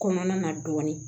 Kɔnɔna na dɔɔnin